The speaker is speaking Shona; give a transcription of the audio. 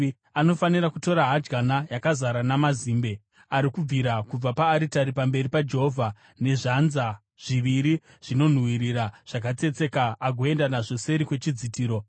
Anofanira kutora hadyana yakazara namazimbe ari kubvira kubva paaritari pamberi paJehovha nezvanza zviviri zvezvinonhuhwira zvakatsetseka agoenda nazvo seri kwechidzitiro.